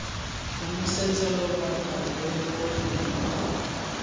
konosetsa lobaka lo lo leng